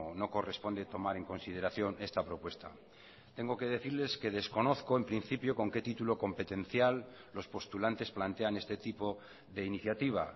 no corresponde tomar en consideración esta propuesta tengo que decirles que desconozco en principio con qué título competencial los postulantes plantean este tipo de iniciativa